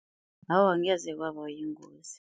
Awa, angeze kwabayingozi.